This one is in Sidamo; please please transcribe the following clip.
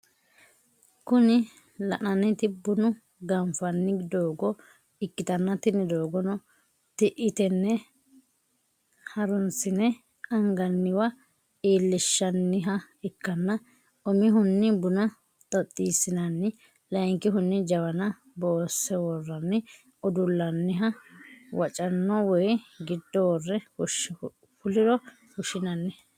Kunii lananiti bunu ganifani dogo ikitana tini dogono ti’i tene harunisine anganiwa ilinishaniha ikana umihuni buna totisinani layinikihuni jawana boseworani uduloniha wachono wayi gido wore fuliro fushinani.